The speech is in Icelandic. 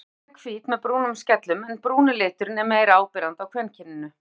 Snæuglan er hvít með brúnum skellum en brúni liturinn er meira áberandi á kvenkyninu.